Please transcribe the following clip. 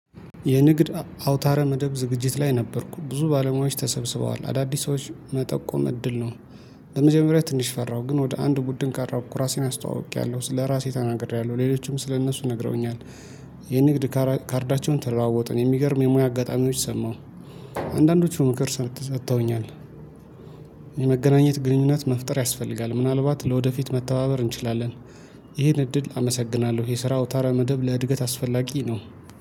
የንግድ አውታረ መደብ ዝግጅት ላይ ነበርኩ ብዙ ባለሙያዎች ተሰብስበዋል አዳዲሶች መጠቆም እድል ነው። በመጀመሪያ ትንሽ ፈራሁ ግን ወደ አንድ ቡድን ቃራብኩ ራሴን አስተዋውቄያለሁ ስለራሴ ተናግሬያለሁ ሌሎችም ስለእነሱ ነግረውኛል። የንግድ ካርዳቸውን ተለዋወጥን የሚገርም የሙያ አጋጣሚዎች ሰማሁ። አንዳንዶቹ ምክር ሰጥተውኛል። የመገናኘት ግንኙነት መፍጠር ያስፈልጋል ምናልባት ለወደፊት መተባበር እንችላለን። ይህን እድል አመሰግናለሁ። የስራው አውታራ መደብ ለእድገት አስፈላጊ ነው